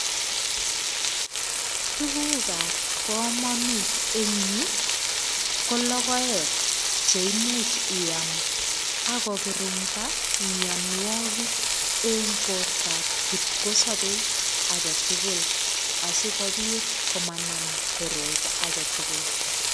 Tugukab kamanut eng yu ko logoek che imuch iam ak kokirinda mianwogik eng bortab kipkosobei age tugul asigopit komanam korot age tugul.